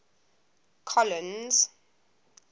collins